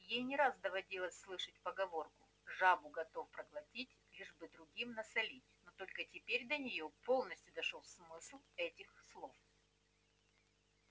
ей не раз доводилось слышать поговорку жабу готов проглотить лишь бы другим насолить но только теперь до неё полностью дошёл смысл этих слов